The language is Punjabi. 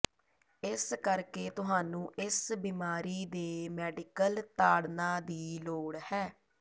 ਇਸ ਕਰਕੇ ਤੁਹਾਨੂੰ ਇਸ ਬਿਮਾਰੀ ਦੇ ਮੈਡੀਕਲ ਤਾੜਨਾ ਦੀ ਲੋੜ ਹੈ